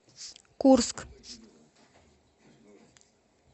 курск